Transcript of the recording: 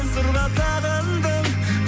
сырға тағындың